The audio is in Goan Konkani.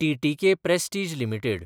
TTK Prestige limited